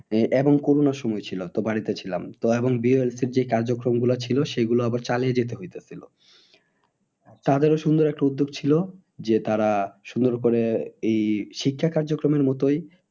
আহ এবং করোনার সময় ছিল তো বাড়িতে ছিলাম। তো এবং BYLC যে কার্যক্রম গুলো ছিল সেগুলো আবার চলিয়ে যেতে হইতাছিল তাদেরও সুন্দর একটা উদ্যোগ ছিল যে তারা সুন্দর করে এই শিক্ষা কার্যক্রমের মতোই